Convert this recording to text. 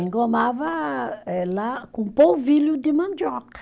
Engomava eh, lá com polvilho de mandioca.